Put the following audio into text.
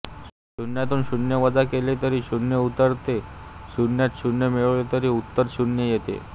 शून्यातून शून्य वजा केले तरी शून्य उरते शून्यात शून्य मिळवले तरी उत्तर शून्य येते